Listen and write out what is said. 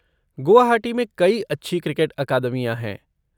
गुवाहाटी में कई अच्छी क्रिकेट अकादमियाँ हैं।